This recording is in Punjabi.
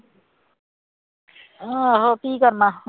ਆਹੋ ਕੀ ਕਰਨਾ